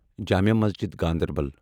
Jamia Masjid Ganderbal